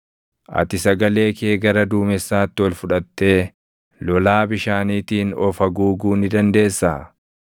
“Ati sagalee kee gara duumessaatti ol fudhattee, lolaa bishaaniitiin of haguuguu ni dandeessaa?